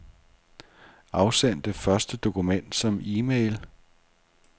Afsend det første dokument som e-mail.